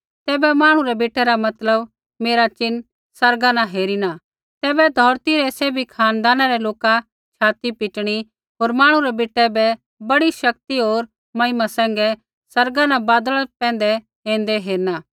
तैबै मांहणु रै बेटै रा मतलब मेरा चिन्ह आसमाना न हेरिना तैबै धौरती रै सैभी खानदाना रै लोका छ़ाती पिटणी होर मांहणु रै बेटै बै बड़ी शक्ति होर महिमा सैंघै आसमाना न बादला पैंधै ऐन्दै हेरना